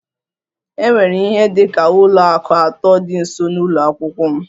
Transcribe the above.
E nwere ihe dị ka ụlọ akụ atọ dị nso n'ụlọ akwụkwọ m